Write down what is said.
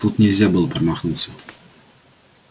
тут нельзя было промахнуться